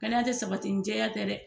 Kɛnɛya ti sabati ni jɛya tɛ dɛ